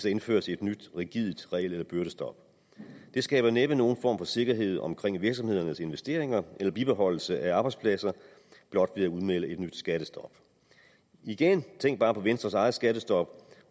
indføres et nyt rigidt regel eller byrdestop man skaber næppe nogen form for sikkerhed omkring virksomhedernes investeringer eller bibeholdelse af arbejdspladser blot ved at udmelde et nyt skattestop igen tænk bare på venstres eget skattestop